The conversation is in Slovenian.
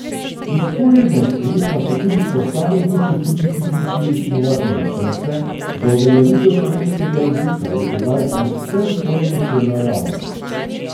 Vzporedno s tem pa so tudi posamezni kulturniki pričeli snovati načrte za uveljavitev slovenskega jezika v tedaj povsem ponemčeno javnost.